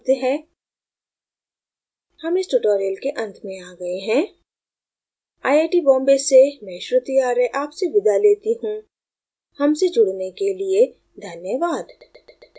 हम इस tutorial के अंत में आ गए हैं आई आई बॉम्बे से मैं श्रुति आर्य आपसे विदा लेती हूँ हमसे जुड़ने के लिए धन्यवाद